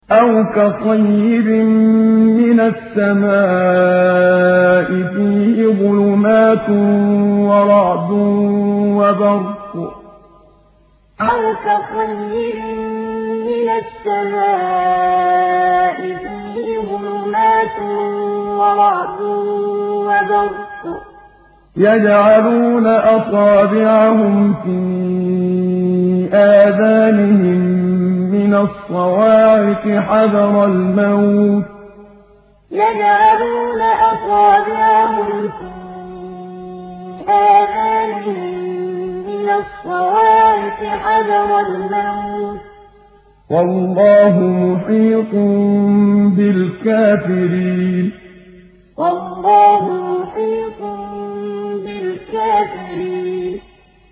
أَوْ كَصَيِّبٍ مِّنَ السَّمَاءِ فِيهِ ظُلُمَاتٌ وَرَعْدٌ وَبَرْقٌ يَجْعَلُونَ أَصَابِعَهُمْ فِي آذَانِهِم مِّنَ الصَّوَاعِقِ حَذَرَ الْمَوْتِ ۚ وَاللَّهُ مُحِيطٌ بِالْكَافِرِينَ أَوْ كَصَيِّبٍ مِّنَ السَّمَاءِ فِيهِ ظُلُمَاتٌ وَرَعْدٌ وَبَرْقٌ يَجْعَلُونَ أَصَابِعَهُمْ فِي آذَانِهِم مِّنَ الصَّوَاعِقِ حَذَرَ الْمَوْتِ ۚ وَاللَّهُ مُحِيطٌ بِالْكَافِرِينَ